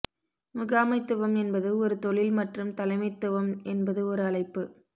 முகாமைத்துவம் என்பது ஒரு தொழில் மற்றும் தலைமைத்துவம் என்பது ஒரு அழைப்பு